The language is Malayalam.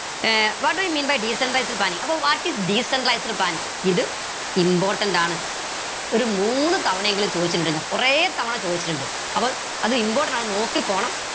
uh what do you mean by decentralized planning അപ്പൊ what is decentralized planning ഇത് important ആണ് ഒരു മൂന്ന് തവണയെങ്കിലും ചോദിച്ചിട്ടിണ്ട് കൊറേ തവണ ചോദിച്ചിട്ടിണ്ട് അപ്പോൾ അത് important ആണ് നോക്കി പോണം